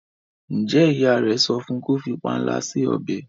njé ìyá rẹ sọfún kò fí panla si ọbẹ?